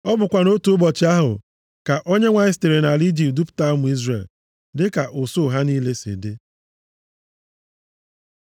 Ọ bụkwa nʼotu ụbọchị ahụ ka Onyenwe anyị sitere nʼala Ijipt dupụta ụmụ Izrel, dịka usuu ha niile si dị.